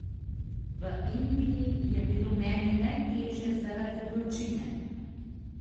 V Indiji je bilo meni najteže zaradi vročine.